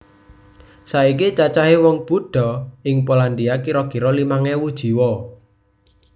Saiki cacahé wong Buddha ing Polandia kira kira limang ewu jiwa